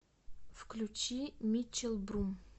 включи митчел брум